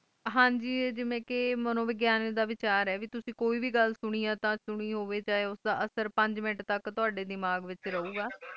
ਹਨ ਗ ਜਿਵੈਂ ਕਈ ਮਾਨੋ ਵਿਗਿਆਨ ਦਾ ਵਿਚਾਰ ਹੈ ਕ ਤਕ ਤੁਸੀਂ ਕੋਈ ਵੇ ਗੁਲ ਸੁਣੀ ਹੈ ਤਾਂ ਸੁਣੀ ਹੋਵਈ ਯੋਧਾ ਅਸਰ ਪੰਜ ਮਿੰਟ ਤਕ ਤੈਡੇ ਦਿਮਾਗ਼ ਉਤੇ ਰਹੋ ਗਏ